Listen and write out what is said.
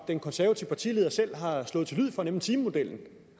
den konservative partileder selv har slået til lyd for nemlig timemodellen